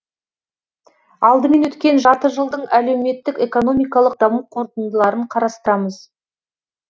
алдымен өткен жарты жылдың әлеуметтік экономикалық даму қорытындыларын қарастырамыз